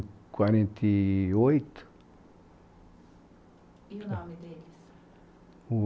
Quarenta e oito. E o nome deles?